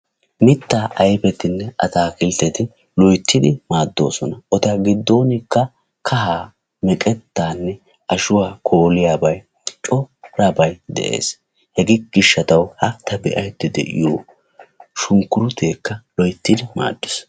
Mittaa ayfetinne atakiltteti loyttidi maaddoosona. Eta giddonkka kahaa, meqettanne ashshuwaa kooliyaabay corabay de'ees. Hega gishshataw ha ta be"aydda de'iyo shunkkurutekka loyttidi maaddees.